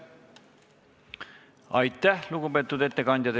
Aitäh, lugupeetud ettekandja!